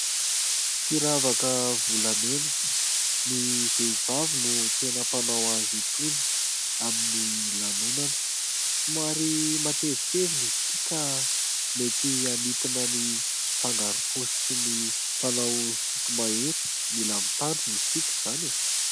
Firavaka volamena. Ny vehivavy no tena mpanao azy itony amin'ny lanonana. Somary matevitevina izy ity ka mety hanintona ny mpangaro-paosy sy ny mpanao sinto-mahery. Mila mitandrina isika izany e !